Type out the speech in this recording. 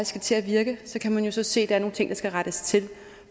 skal til at virke kan man så se at der er nogle ting der skal rettes til